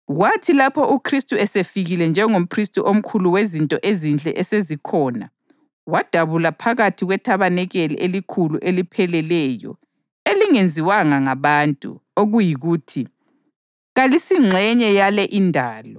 Kwathi lapho uKhristu esefikile njengomphristi omkhulu wezinto ezinhle esezikhona, wadabula phakathi kwethabanikeli elikhulu elipheleleyo elingenziwanga ngabantu, okuyikuthi, kalisingxenye yale indalo.